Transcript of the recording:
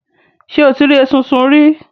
Ṣé o ti rí esunsun rí?